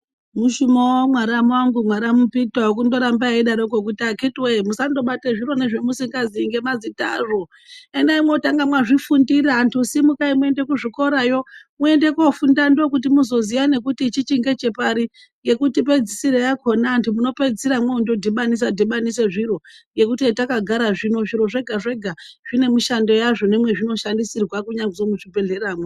Mushumo wawo Mwaramu wangu, mwaramu Peter, wokundorambe eidaroko kuti akiti we amunawe musando bate zviro zvemusingaziyi ngemazita azvo endai mwotange mwazvifundira antu simukai muende kuzvikorayo muende kofunda ndokuti mwozoziya nekuti ichichi ngechepari ,ngekuti pedzisiro yakona antu muno pedzisira mwoondo dhibanise dhibanise zviro ngekuti hatakagara zvino zviro zvega zvega zvine mishando yazvo nemwezvino shandisirwa kunyazwi muzvibhehlera mwo.